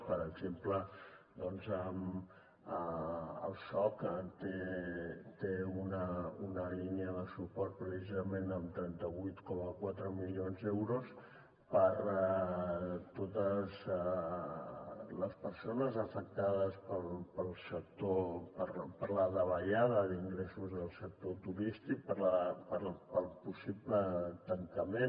per exemple el soc té una línia de suport precisament amb trenta vuit coma quatre milions d’euros per a totes les persones afectades per la davallada d’ingressos del sector turístic pel possible tancament